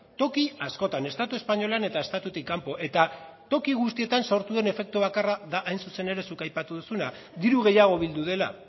toki askotan estatu espainolean eta estatutik kanpo eta toki guztietan sortu den efektu bakarra da hain zuzen ere zuk aipatu duzuna diru gehiago bildu dela